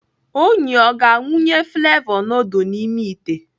Onyi ọ ga-awụnye flevọ nudul n'ime ite?